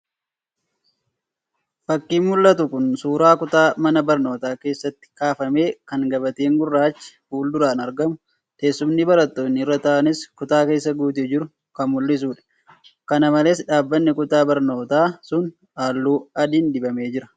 Fakiin mul'atu kun suuraa kutaa mana barnootaa keessatti kaafame kan gabateen gurraachi fuul-duraan argamu. Teessumni barattoonni irra taa'anis kutaa keessa guutee jiru kan mul'isudha. Kana malees dhaabbiin kutaa barnootaa sun halluu adiin dibamee jira.